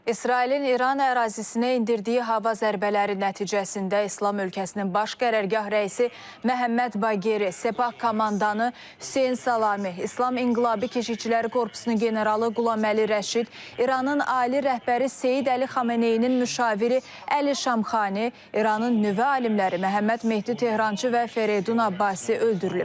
İsrailin İran ərazisinə endirdiyi hava zərbələri nəticəsində İslam ölkəsinin baş qərargah rəisi Məhəmməd Baqeri, Sepah komandanı Hüseyn Salami, İslam İnqilabı Keşişçiləri Korpusunun generalı Qulaməli Rəşid, İranın ali rəhbəri Seyid Əli Xameneyinin müşaviri Əli Şamxani, İranın nüvə alimləri Məhəmməd Mehdi Tehrançı və Ferdun Abbasi öldürülüb.